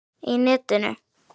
Í netinu?